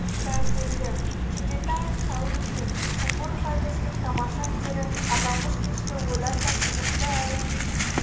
да келді кенжетаев таурум мен шакуров айдостың тамаша әндері аталмыш кешті одан да қызықты әрі